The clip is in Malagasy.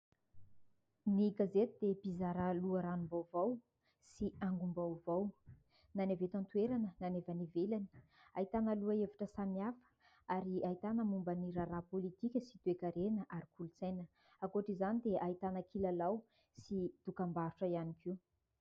Ny gazety dia mpizara loharanom-baovao sy angom-baovao na ny avy eto an-toerana na ny avy any ivelany. Ahitana lohahevitra samihafa ary ahitana momba ny raharaha politika sy toekarena ary kolotsaina. Ankoatra izany dia ahitana kilalao sy dokam-barotra ihany koa.